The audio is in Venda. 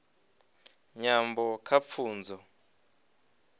nyambo kha pfunzo